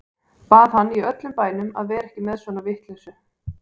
Bað hann í öllum bænum að vera ekki með svona vitleysu.